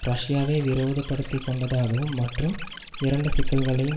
ரஷ்யாவை விரோதப்படுத்திக் கொண்டதாகவும் மற்றும் இரண்டு சிக்கல்களையும்